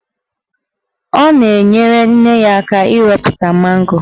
Ọ na-enyere nne ya aka ịrọpụta mango.